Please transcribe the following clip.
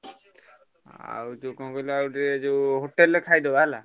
ଆଉ ଯୋଉ କଣ କହିଲ ଆଉ ଟିକେ ଯୋଉ hotel ରେ ଖାଇଦେବା ହେଲା।